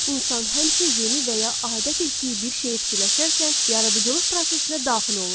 İnsan həmişə yeni və ya adət etdiyi bir şeyi fikirləşərkən yaradıcılıq prosesinə daxil olur.